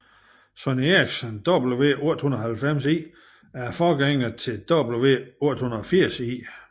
Sony Ericsson W890i er forgængeren til W880i